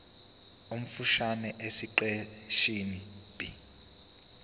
omfushane esiqeshini b